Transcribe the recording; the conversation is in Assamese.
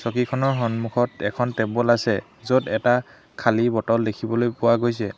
সিখনৰ সন্মুখত এখন টেবুল আছে য'ত এটা খালী বটল দেখিবলৈ পোৱা গৈছে।